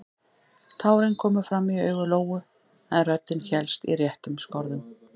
Tárin komu fram í augu Lóu en röddin hélst í réttum skorðum.